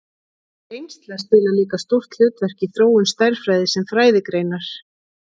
Reynsla spilar líka stórt hlutverk í þróun stærðfræði sem fræðigreinar.